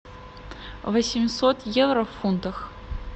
восемьсот евро в фунтах